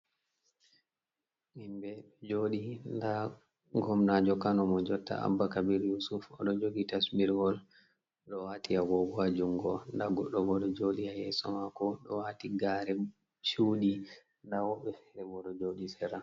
Himɓe joodi. Nda Gomnajo Kano mo jotta Abba Ka if Yusuf odo jogi tasbiriwol oɗo waati agogo ha jungo mako. Goɗɗo Bo ɗo joɗi ha yeso mako do wati gare chudi, nda woɓɓe feere bo ɗo jodi ha sera.